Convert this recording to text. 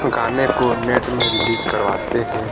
गाने को नेट में रिलीज करवाते है।